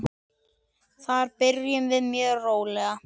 Þar byrjum við mjög rólega.